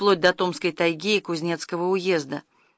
вплоть до томска и тайги и кузнецкого уезда